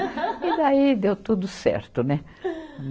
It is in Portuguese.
E daí deu tudo certo, né?